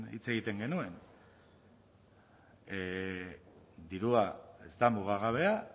hitz egiten genuen dirua ez da mugagabea